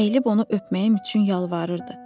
Əyilib onu öpməyim üçün yalvarırdı.